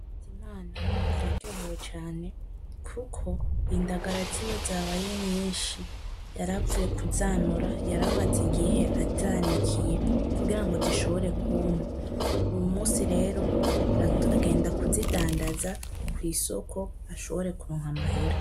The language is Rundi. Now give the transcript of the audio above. Nkunzimana araryohewe cane kuko indagara ziwe zabaye nyinshi yaravuye kuzanura yaramaze igihe azanikiye kugira ngo zishobore kwuma. Uwu musi rero, agenda kuzidandaza kw'isoko ashobore kuronka amahera.